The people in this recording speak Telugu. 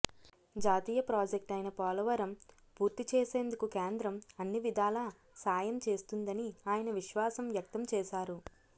జాతీయ ప్రాజెక్టు అయిన పోలవరం పూర్తి చేసేందుకు కేంద్రం అన్ని విధాల సాయం చేస్తుందని ఆయన విశ్వాసం వ్యక్తం చేశారు